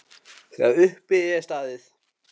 Þegar upp er staðið?